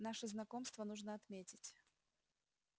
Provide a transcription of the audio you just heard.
наше знакомство нужно отметить